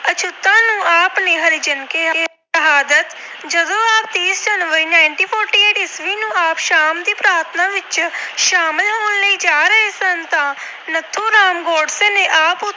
ਆਪ ਨੇ ਹਰੀਜਨ ਸ਼ਹਾਦਤ- ਜਦੋਂ ਆਪ ਤੀਹ ਜਨਵਰੀ, ਉਨੀ ਸੌ ਅਡਤਾਲੀ ਈਸਵੀ ਨੂੰ ਆਪ ਸ਼ਾਮ ਦੀ ਪ੍ਰਾਥਨਾ ਵਿੱਚ ਸ਼ਾਮਲ ਹੋਣ ਲਈ ਜਾ ਰਹੇ ਸਨ ਤਾਂ ਨੱਥੂ ਰਾਮ ਗੋਂਡਸੇ ਨੇ